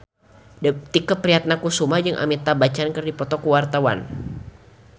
Tike Priatnakusuma jeung Amitabh Bachchan keur dipoto ku wartawan